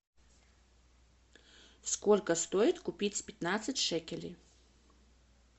сколько стоит купить пятнадцать шекелей